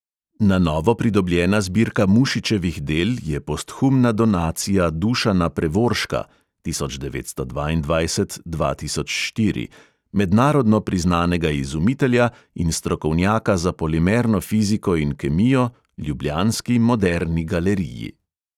Na novo pridobljena zbirka mušičevih del je posthumna donacija dušana prevorška (od tisoč devetsto dvaindvajset dva tisoč štiri), mednarodno priznanega izumitelja in strokovnjaka za polimerno fiziko in kemijo, ljubljanski moderni galeriji.